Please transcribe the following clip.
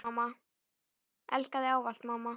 Elska þig ávallt mamma.